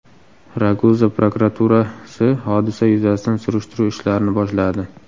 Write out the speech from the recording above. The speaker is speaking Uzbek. Raguza prokuraturasi hodisa yuzasidan surishtiruv ishlarini boshladi.